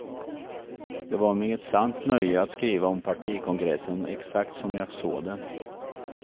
Det var mig ett sant nöje att skriva om partikongressen exakt som jag såg den.